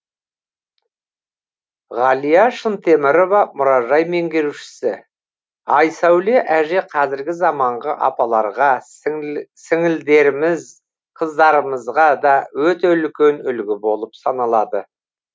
ғалия шынтемірова мұражай меңгерушісі айсәуле әже қазіргі заманғы апаларға сіңілдеріміз қыздарымызға да өте үлкен үлгі болып саналады